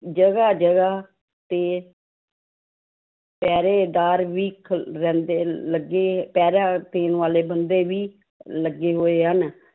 ਜਗਾ ਜਗਾ ਤੇ ਪਹਿਰੇਦਾਰ ਵੀ ਖ~ ਰਹਿੰਦੇ ਲੱਗੇ ਪਹਿਰਾ ਦੇਣ ਵਾਲੇ ਬੰਦੇ ਵੀ ਲੱਗੇ ਹੋਏ ਹਨ।